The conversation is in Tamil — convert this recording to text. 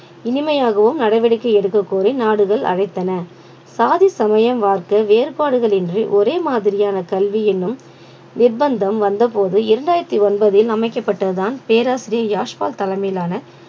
இனிமையாகவும் நடவடிக்கை எடுக்கக்கோரி நாடுகள் அழைத்தன சாதி சமயம் பார்க்க வேறுபாடுகள் இன்றி ஒரே மாதிரியான கல்வி எனும் நிர்பந்தம் வந்த போது இரண்டாயிரத்தி ஒன்பதில் அமைக்கப்பட்டதுதான் பேராசிரியர் யாஷ்வா தலைமையிலான